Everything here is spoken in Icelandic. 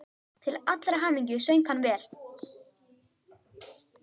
Til allrar hamingju söng hann vel!